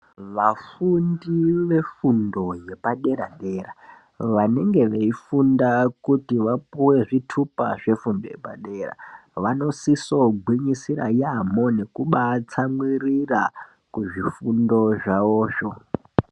Vafundi vefundo yepadera dera vanenge veifunda kuti vapuwe zvitupa zvefundo yepadera vanosiso gwinyisira yaamho nekuba tsamwirira kuzvifundo zvawozvo.